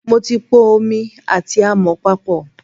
Mo ti po omi àti àmọ̀ papọ̀.